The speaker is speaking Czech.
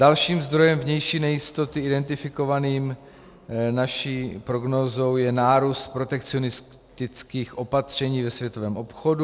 Dalším zdrojem vnější nejistoty identifikovaným naší prognózou je nárůst protekcionistických opatření ve světovém obchodu.